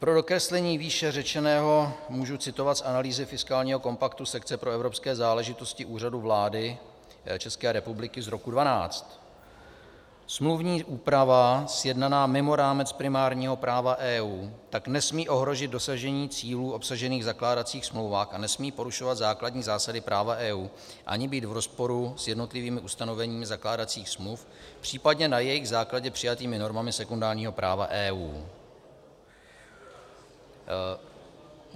Pro dokreslení výše řečeného můžu citovat z analýzy fiskálního kompaktu sekce pro evropské záležitosti Úřadu vlády České republiky z roku 2012: Smluvní úprava sjednaná mimo rámec primárního práva EU tak nesmí ohrozit dosažení cílů obsažených v zakládacích smlouvách a nesmí porušovat základní zásady práva EU ani být v rozporu s jednotlivými ustanoveními zakládacích smluv, případně na jejich základě přijatými normami sekundárního práva EU.